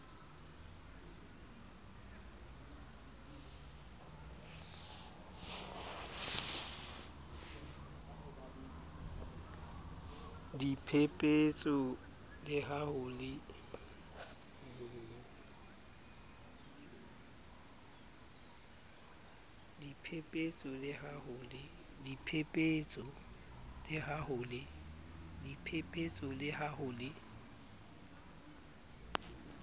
diphepetso le ha ho le